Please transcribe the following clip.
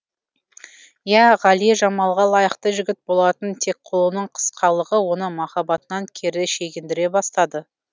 ия ғали жамалға лайықты жігіт болатын тек қолының қысқалығы оны махаббатынан кері шегіндіре бастады